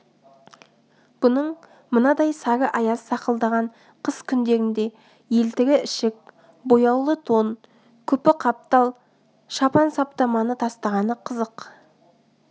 бұның мынадай сары аяз сақылдаған қыс күндерінде елтірі ішік бояулы тон күпі қаптал шапан саптаманы тастағаны қызық